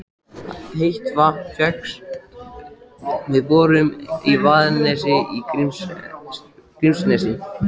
Heitt vatn fékkst við borun í Vaðnesi í Grímsnesi.